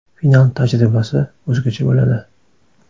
Final tajribasi o‘zgacha bo‘ladi.